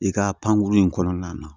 I ka pankuru in kɔnɔna na